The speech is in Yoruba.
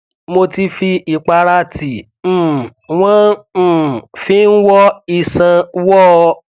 mo ti fi ìpara tí um wn um fi ń wọ iṣan wọọ ọ